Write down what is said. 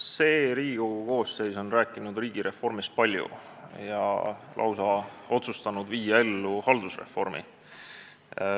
See Riigikogu koosseis on rääkinud riigireformist palju ja on lausa otsustanud viia ellu haldusreformi.